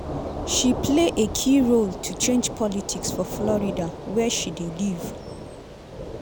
she play a key role to change politics for florida wia she dey live.